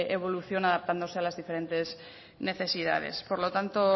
evolución adaptándose a las diferentes necesidades por lo tanto